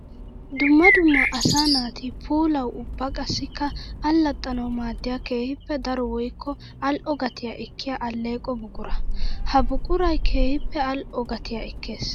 Dumma dumma asaa naati puulawu ubba qassikka alaxxanawu maadiya keehippe daro woykko ali'o gatiya ekkiya aleqqo buqura. Ha buquray keehippe ali'o gatiya ekkees.